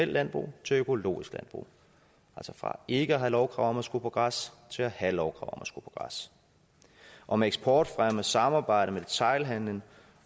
landbrug til økologisk landbrug altså fra ikke at have lovkrav om at skulle på græs til at have lovkrav at skulle på græs og med eksportfremme og samarbejde med detailhandelen